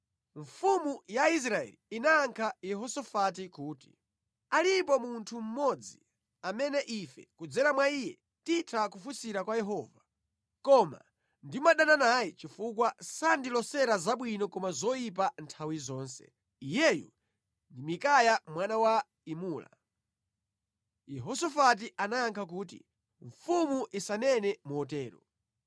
Mfumu ya Israeli inayankha Yehosafati kuti, “Alipo munthu mmodzi amene ife kudzera mwa iye titha kufunsira kwa Yehova, koma ndimadana naye chifukwa sandilosera zabwino koma zoyipa nthawi zonse. Iyeyu ndi Mikaya mwana wa Imula.” Yehosafati anayankha kuti, “Mfumu isanene motero.”